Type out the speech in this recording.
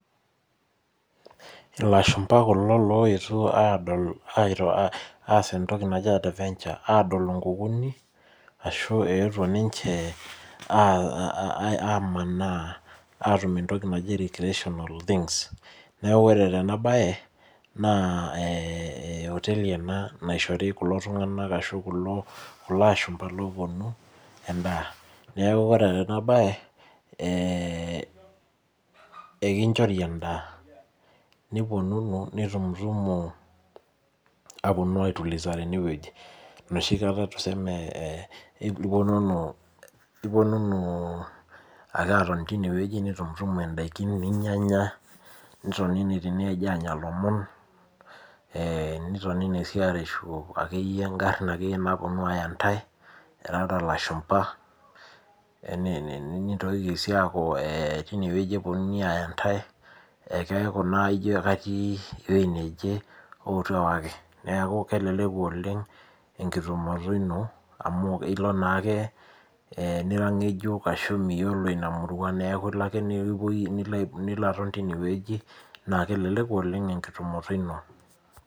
Ilashumpa kulo loetuo adol aas entoki naji adventure. Adol inkukuni, ashu eetuo ninche amanaa atum entoki naji recreational things. Neeku ore tenabae, naa oteli ena naishori kulo tung'anak ashu kulo ashumpa loponu, endaa. Neeku ore tenabae, ekinchori endaa. Niponunu nitumutumu aponu ai tuliza tenewueji. Enoshi kata tuseme iponunu ake atoni tinewueji nitumtumu daikin ninyanya, nitonini tinewueji anya lomon, nitoni si areshu akeyie garrin naponu aya ntai, irara lashumpa, nintokiki si aku tinewueji eponunui aya ntai, ekeeku naijo katii ewei neje, ootu ewaki. Neeku keleleku oleng enkitumoto ino amu ilo naake nira ng'ejuk ashu miyiolo ina murua, neeku ilo ake nilo aton tinewueji, na keleleku oleng enkitumoto ino.